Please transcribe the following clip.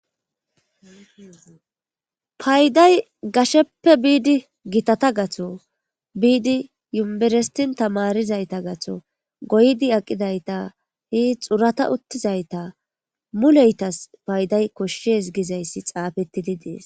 Payday gasheppe biidi gitata gatho biidi yumberestin tamarizayta gatho goydi aqidayta he xurata uttizayta muleytas payday koshshes gizayssi xaafettidi dees.